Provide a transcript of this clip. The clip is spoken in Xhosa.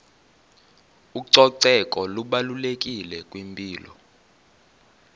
ucoceko lubalulekile kwimpilo